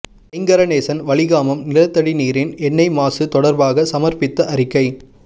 ஐங்கரநேசன் வலிகாமம் நிலத்தடி நீரின் எண்ணெய் மாசு தொடர்பாகச் சமர்ப்பித்த அறிக்கை